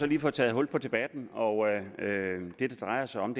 lige fået taget hul på debatten og det det drejer sig om